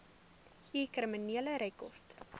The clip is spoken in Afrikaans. u kriminele rekord